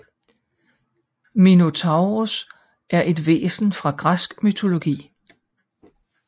Minotauros er et væsen fra græsk mytologi